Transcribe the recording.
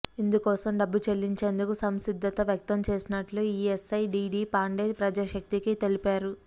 ఇందుకోసం డబ్బు చెల్లించేందుకు సంసిద్ధత వ్యక్తం చేసినట్లు ఇఎస్ఐ డిడి పాండే ప్రజాశక్తికి తెలిపారు